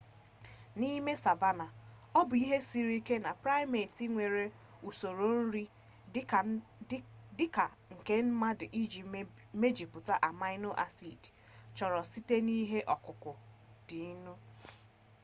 n'ime savanna ọ bụ ihe siri ike na primate nwere usoro nri dị ka nke mmadụ iji mejupụta amino-acid chọrọ site na ihe ọkụkụ dịnụ